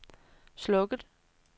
slukket